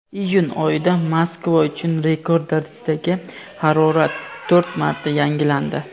iyun oyida Moskva uchun rekord darajadagi harorat to‘rt marta yangilandi.